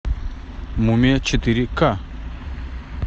мумия четыре ка